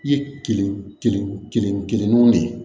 I ye kelen kelen kelen kelennanw de ye